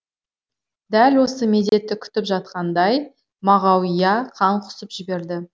дәл осы мезетті күтіп жатқандай мағауия қан құсып жіберді